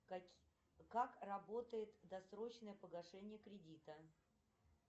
как работает досрочное погашение кредита